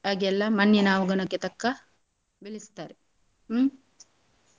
ಆಗೆಲ್ಲ ಮಣ್ಣಿನ ಅವಗುಣಕ್ಕೆ ತಕ್ಕ ಬೆಳೆಸ್ತಾರೆ ಹ್ಮ್.